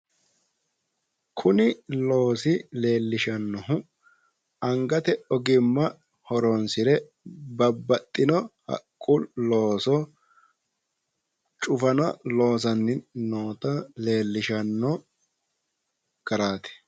Kuni loosi leellishannohu angate ogimma horonssire babbaxxino haqqu looso cufana loosanni noota lellishanno garaati.